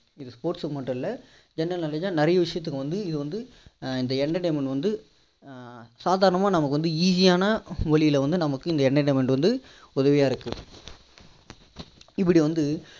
இது sports க்கு மட்டும் இல்ல general knoeledge னா நிறைய விஷயத்துக்கு வந்து இந்த வந்து ஆஹ் சாதாரனமா நமக்கு வந்து easy யான வழியில வந்து நமக்கு இந்த entertainment வந்து உதவியா இருக்கு இப்படி வந்து